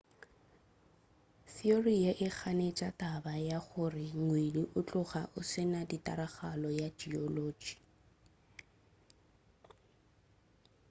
theory ye e ganetša taba ya gore ngwedi o tloga o se na tiragalo ya geology